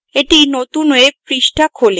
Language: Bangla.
একটি নতুন webপৃষ্ঠা খোলে